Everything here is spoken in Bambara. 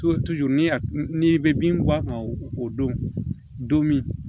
ni bɛ bin bɔ a kan o don min